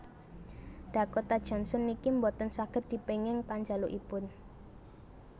Dakota Johnson niki mboten saget dipenging panjalukipun